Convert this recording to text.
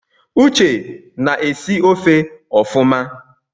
Uche na-esi ofe ọfụma